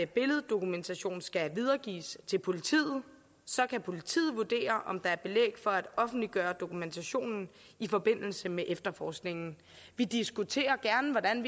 billeddokumentation skal videregives til politiet og så kan politiet vurdere om der er belæg for at offentliggøre dokumentationen i forbindelse med efterforskningen vi diskuterer gerne hvordan